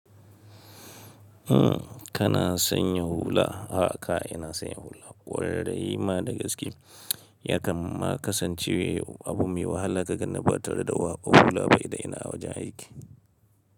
Umm, kana sanya hula? A'a ka ina sanya hula. Kwarai ma da gaske. Yakan ma kasance abu mai wahala ka ganni ba tare da hula ba idan ina wajen aiki.